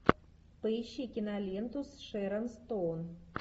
поищи киноленту с шерон стоун